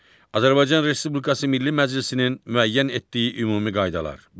Azərbaycan Respublikası Milli Məclisinin müəyyən etdiyi ümumi qaydalar.